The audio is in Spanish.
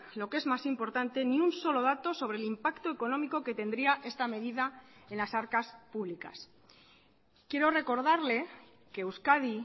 lo que es más importante ni un solo dato sobre el impacto económico que tendría esta medida en las arcas públicas quiero recordarle que euskadi